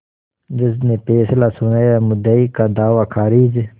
जज ने फैसला सुनायामुद्दई का दावा खारिज